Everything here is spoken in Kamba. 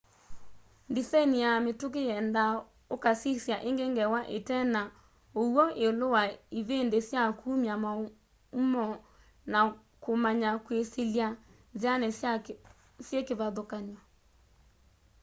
ndisaini ya mituki yendaa ukasisya ingi ngewa ite na uw'o iulu wa ivindi sya kumya maumoo na kumanya kwisilya nziani syi kivathukany'o